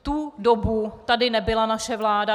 V tu dobu tady nebyla naše vláda.